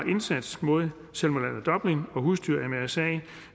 indsats mod salmonella dublin og husdyr mrsa